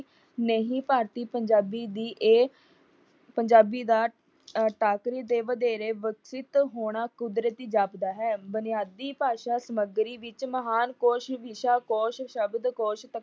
ਨਹੀ ਭਾਰਤੀ ਪੰਜਾਬੀ ਦੀ ਇਹ ਪੰਜਾਬੀ ਦਾ ਟਾਕਰੀ ਤੇ ਵਧੇਰੇ ਵਿਕਸਿਤ ਹੋਣਾ ਕੁਦਰਤੀ ਜਾਪਦਾ ਹੈ। ਬੁਨਿਆਦੀ ਭਾਸ਼ਾ ਸਮੱਗਰੀ ਵਿੱਚ ਮਹਾਨ ਕੋਸ਼, ਵਿਸ਼ਾ ਕੋਸ਼, ਸ਼ਬਦ ਕੋਸ਼ ਤਕਨੀਕੀ।